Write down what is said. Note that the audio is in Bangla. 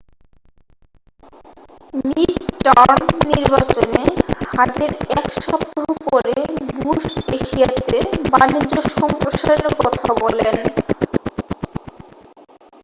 মিড টার্ম নির্বাচনে হারের এক সপ্তাহ পরে বুশ এশিয়াতে বাণিজ্য সম্প্রসারণের কথা বলেন